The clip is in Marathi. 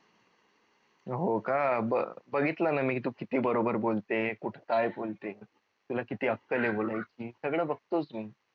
होका बरं बघितल न मी तू किती बरोबर बोलते कुठ काय बोलते तुला किती अक्कल आहे बोलायची सगळं बघतोच मी